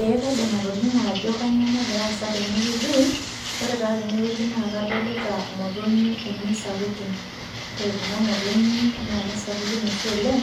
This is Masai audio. Ee kaidim atolimu ajo kanyioo nagira aasa tenewueji, ore taa tenewueji naa kadolita imotonyi uni sapukin. Ore kuna motonyik na kesapukin oshi oleng,